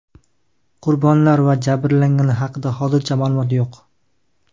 Qurbonlar va jabrlanganlar haqida hozircha ma’lumot yo‘q.